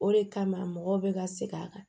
O de kama mɔgɔw bɛ ka segin a kan